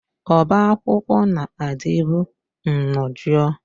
Ọbá akwụkwọ na-adịbu nnọọ jụụ.